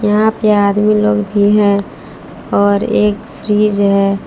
यहां पे आदमी लोग भी हैं और एक फ्रिज है।